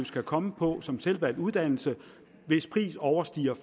skal komme på som selvvalgt uddannelse hvis pris overstiger